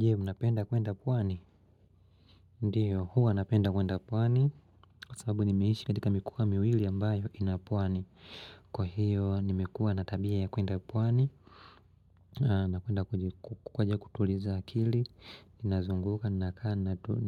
Je, unapenda kuenda pwani? Ndio, huwa napenda kuenda pwani, Kwa sababu nimeishi katika mikwaa miwili ambayo ina pwani. Kwa hiyo, nimekuwa na tabia ya kuenda pwani na kuenda kukwaja kutuliza akili Ninazunguka, ninakaa,